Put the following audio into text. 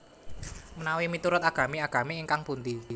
Menawi miturut agami agami ingkang pundi